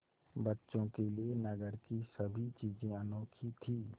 बच्चों के लिए नगर की सभी चीज़ें अनोखी थीं